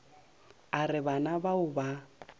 a re bana bao ba